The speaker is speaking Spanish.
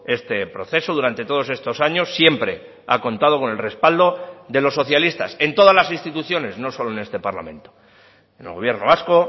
este proceso durante todos estos años siempre ha contado con el respaldo de los socialistas en todas las instituciones no solo en este parlamento en el gobierno vasco